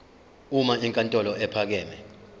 uma inkantolo ephakeme